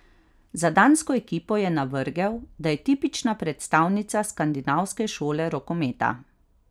Za dansko ekipo je navrgel, da je tipična predstavnica skandinavske šole rokometa.